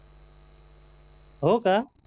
हो का